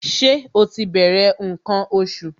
Ṣé ó ti bẹ̀rẹ̀ ǹkan oṣù?